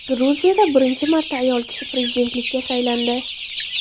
Gruziyada birinchi marta ayol kishi prezidentlikka saylandi.